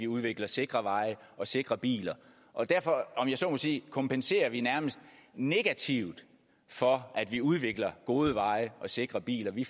udvikler sikre veje og sikre biler og derfor om jeg så må sige kompenserer vi nærmest negativt for at vi udvikler hovedveje og sikre biler vi